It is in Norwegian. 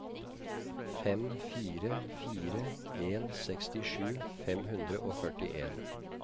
fem fire fire en sekstisju fem hundre og førtien